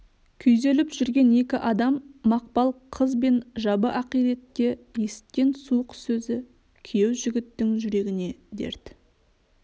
күйзеліп жүрген екі адам мақпал қыз бен жабы ақиректе есіткен суық сөзі күйеу жігіттің жүрегіне дерт